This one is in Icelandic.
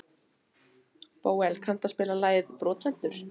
Bóel, kanntu að spila lagið „Brotlentur“?